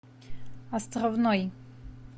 островной